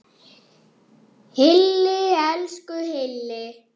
Hilli, elsku Hilli!